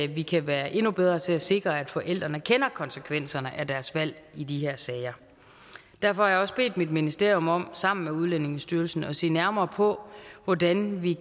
vi kan være endnu bedre til at sikre at forældrene kender konsekvenserne af deres valg i de her sager derfor har jeg også bedt mit ministerium om sammen med udlændingestyrelsen at se nærmere på hvordan vi